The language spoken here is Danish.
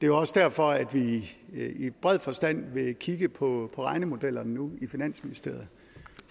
jo også derfor at vi i bred forstand nu vil kigge på regnemodellerne i finansministeriet